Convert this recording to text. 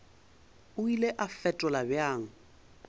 o ile a fetola bjang